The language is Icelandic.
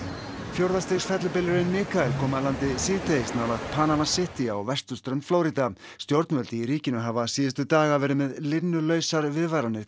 fjórða stigs fellibylurinn Mikael kom að landi síðdegis nálægt Panama City á vesturströnd Flórída stjórnvöld í ríkinu hafa síðustu daga verið með linnulausar viðvaranir